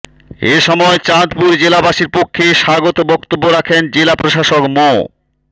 এ সময় চাঁদপুর জেলাবাসীর পক্ষে স্বাগত বক্তব্য রাখেন জেলা প্রশাসক মো